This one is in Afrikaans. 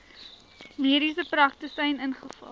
mediese praktisyn ingevul